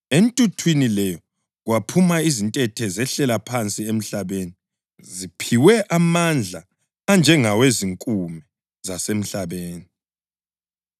Entuthwini leyo kwaphuma izintethe zehlela phansi emhlabeni ziphiwe amandla anjengawezinkume zasemhlabeni.